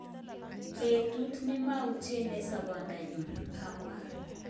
Petut nemautien eng sabondonyun ."kamwa.